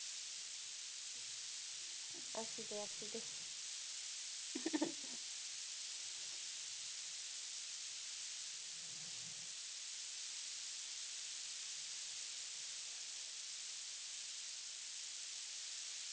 असुदे असुदे